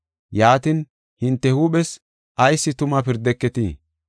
“Yaatin, hinte huuphes ayis tuma pirdeketii?